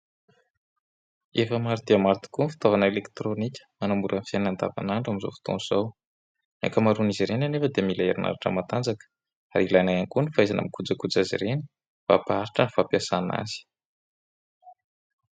Efa maro dia maro tokoa ny fotavana elektronika hanamora ny fiainana an'davan'andro amin'izao fotoana izao. Ny anka-maroan'izy ireny anefa dia mila erinaratra matanjaka ary ilaina iany koa ny fahaizana mikojakoja azy ireny mba ampaharitra ny fampiasana azy.